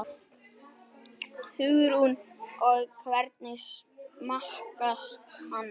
Hugrún: Og hvernig smakkast hann?